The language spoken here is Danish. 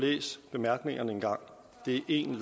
bemærkningerne at det er en